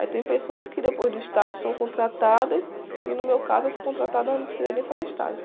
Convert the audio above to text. Aí tem pessoas que depois do estágio são contratadas e no meu caso eu fui contratada, mas não precisei nem fazer estágio.